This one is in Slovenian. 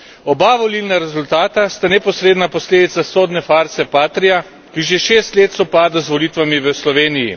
Oba volilna rezultata sta neposredna posledica sodne farse Patrija, ki že šest let sovpada z volitvami v Sloveniji.